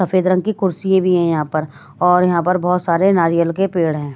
सफेद रंग की कुर्सी भी हैं यहां पर और यहां पर बहुत सारे नारियल के पेड़ हैं।